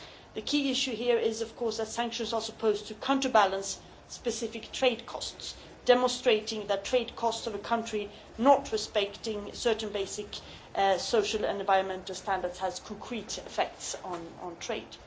The key issue here is that sanctions are supposed to counterbalance specific trade costs, demonstrating that the trade costs of a country not respecting certain basic social and environmental standards has concrete effects on trade.